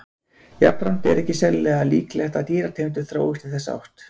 Jafnframt er ekki sérlega líklegt að dýrategundir þróist í þessa átt.